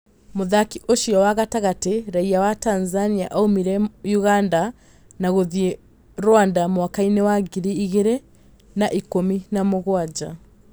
Mũthaki ũcio wa gatagatĩ raia wa Tanzania aumire Ũganda na gũthiĩ Rwanda mwakainĩ wa ngiri igĩrĩ na ikũmi na mũgwanja